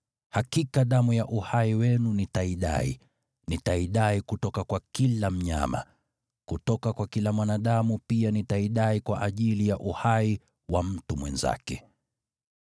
Hakika damu ya uhai wenu nitaidai. Nitaidai kutoka kwa kila mnyama. Kutoka kwa kila mwanadamu pia nitaidai kwa ajili ya uhai wa mtu mwenzake.